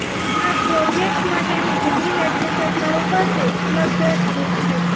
આ પ્રોજેક્ટ્સ માટેની જમીન રાજ્ય સરકારો પાસે ઉપલબ્ધ જ છે